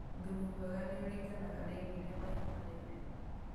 Thumu mwega nĩũringanaga na irio irĩa mahiũ marĩire